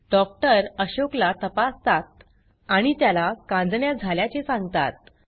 doctor अशोकला तपासतात आणि त्याला कांजिण्या झाल्याचे सांगतात